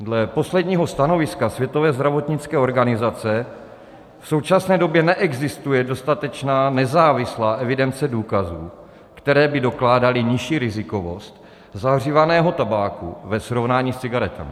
Dle posledního stanoviska Světové zdravotnické organizace v současné době neexistuje dostatečná nezávislá evidence důkazů, které by dokládaly nižší rizikovost zahřívaného tabáku ve srovnání s cigaretami.